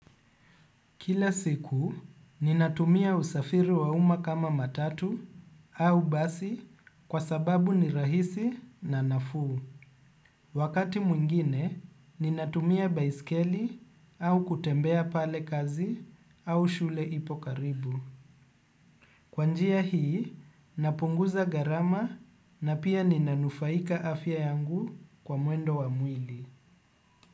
Kila siku, ninatumia usafiri wa umma kama matatu au basi kwa sababu ni rahisi na nafuu. Wakati mwingine, ninatumia baiskeli au kutembea pale kazi au shule ipo karibu. Kwa njia hii, napunguza garama na pia ninanufaika afya yangu kwa mwendo wa mwili.